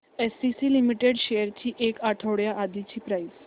ACC limited shares ची एक आठवड्या आधीची प्राइस